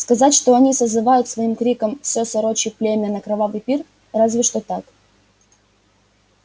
сказать что они созывают своим криком все сорочье племя на кровавый пир разве что так